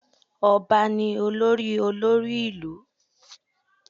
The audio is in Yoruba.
Ọba ni olórí olórí ìlú